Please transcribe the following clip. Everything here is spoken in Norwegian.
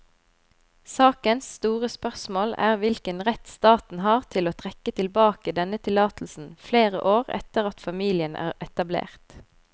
Sakens store spørsmål er hvilken rett staten har til å trekke tilbake denne tillatelsen flere år etter at familien er etablert.